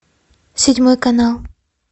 седьмой канал